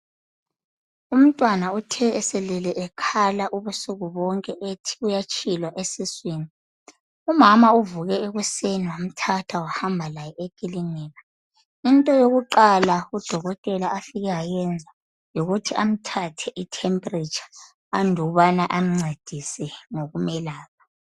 Umntwana uthe elele ekhala ubusuku bonke ethi uyatshilwa esiswini umama uvuke ekuseni wamthatha wahamba laye ekilinika into yokuqala udokotela afike wayenza yikuthi amthathe I temperature andubana emncedise ngokumelapha .